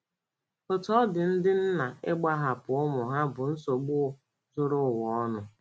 Otú ọ dị, ndị nna ịgbahapụ ụmụ ha bụ nsogbu zuru ụwa ọnụ.